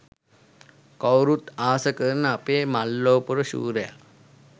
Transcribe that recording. කවුරුත් ආස කරන අපේ මල්ලවපොර ශූරය